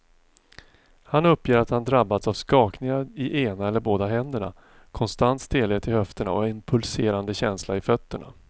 Han uppger att han drabbas av skakningar i ena eller båda händerna, konstant stelhet i höfterna och en pulserande känsla i fötterna.